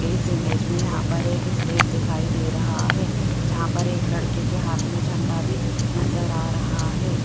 इस इमेज में यहां पर एक स्टेज दिखाई दे रहा है जहां पर एक लड़के के हाथ में झंडा भी नजर आ रहा है।